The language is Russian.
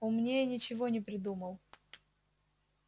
умнее ничего не придумал